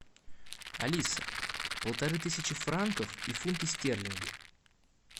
алиса полторы тысячи франков и фунты стерлинги